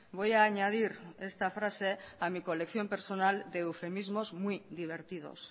voy a añadir esta frase a mi colección personal de eufemismos muy divertidos